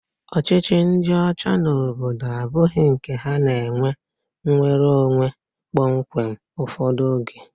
Ọchịchị ndị ọcha n'obodo abụghị nke ha na-ekwe nnwereonwe kpọmkwem ụfọdụ oge.